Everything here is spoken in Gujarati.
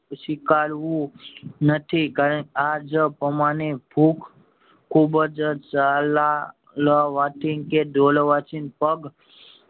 સ્વીકારવું નથી આજ પ્રમાણે ખુબ ખુબ જ ચા લ ચાલવાથી કે દોડવાથી પગ